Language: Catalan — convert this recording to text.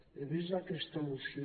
he vist aquesta moció